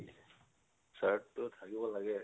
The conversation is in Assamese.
shirt টো থাকিব লাগে